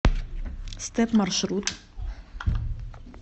стэп маршрут